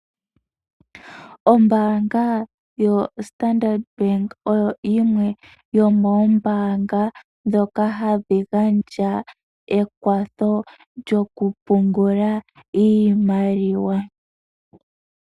Ombaanga yo Standard Bank oyo yimwe yomoombaanga dhoka hadhi gandja ekwatho lyo ku pungula oshimaliwa.